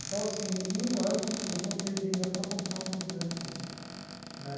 Então, assim, em um ano, eu juntei dinheiro para comprar o meu primeiro Fusca né.